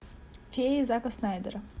феи зака снайдера